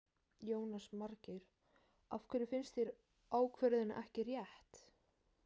Jónas Margeir: Af hverju finnst þér ákvörðunin ekki rétt?